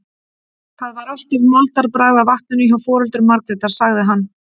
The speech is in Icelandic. Það var alltaf moldarbragð af vatninu hjá foreldrum Margrétar, sagði hann.